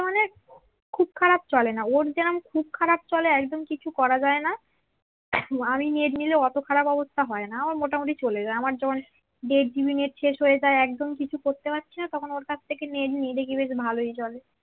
খুব খারাপ চলে না ওর যেমন খুব খারাপ চলে একদম কিছু করা যায় না আমি নেট নিলে অত খারাপ অবস্থা হয়না আমার মোটামুটি চলে যায় আমার যেমন দেড় জিবি নেট শেষ হয়ে যায় একদম কিছু করতে পারছি না তখন ওটার থেকে নেট নিয়ে দেখি বেস ভালই চলে